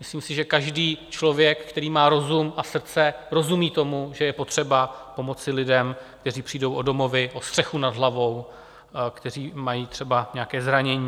Myslím si, že každý člověk, který má rozum a srdce, rozumí tomu, že je potřeba pomoci lidem, kteří přijdou o domovy, o střechu nad hlavou, kteří mají třeba nějaké zranění.